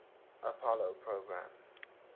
apollo program